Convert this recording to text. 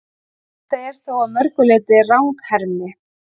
Þetta er þó að mörgu leyti ranghermi.